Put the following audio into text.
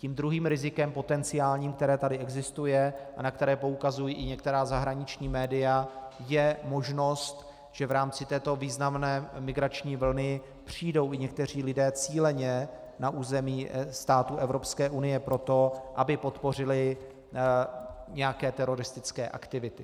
Tím druhým potenciálních rizikem, které tady existuje a na které poukazují i některá zahraniční média, je možnost, že v rámci této významné migrační vlny přijdou i někteří lidé cíleně na území států Evropské unie proto, aby podpořili nějaké teroristické aktivity.